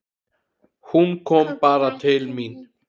Hún kom bara til mín.